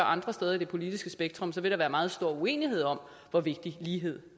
andre steder i det politiske spektrum vil der være meget stor uenighed om hvor vigtig ligheden